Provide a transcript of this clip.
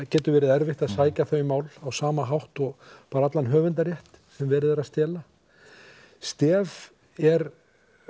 getur verið erfitt að sækja þau mál á sama hátt og bara allan höfundarrétt sem verið er að stela stela STEF er